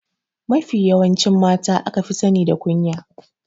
Mafi yawancin mata aka fi sani da kunya.